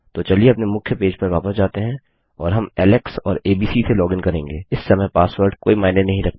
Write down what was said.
तो चलिए अपने मुख्य पेज पर वापस जाते हैं और हम एलेक्स और एबीसी से लॉगिन करेंगे इस समय पासवर्ड कोई मायने नहीं रखता